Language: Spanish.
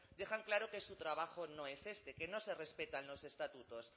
dejan claro que su trabajo no es este que no se respetan los estatutos